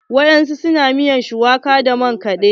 Wasu na miyar shuwaka da makani.